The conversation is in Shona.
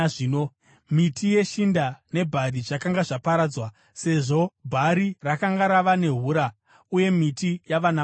(Miti yeshinda nebhari zvakanga zvaparadzwa, sezvo bhari rakanga rava nehura uye miti yava namaruva.